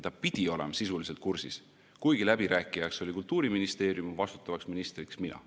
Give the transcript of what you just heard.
Ta pidi olema sisuliselt kursis, kuigi läbirääkijaks oli Kultuuriministeerium, vastutavaks ministriks mina.